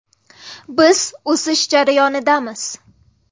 Biz o‘sish jarayonidamiz.